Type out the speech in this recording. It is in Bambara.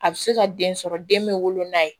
A bɛ se ka den sɔrɔ den bɛ wolo n'a ye